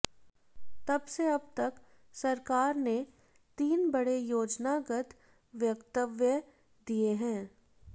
तब से अब तक सरकार ने तीन बड़े योजनागत वक्तव्य दिए हैं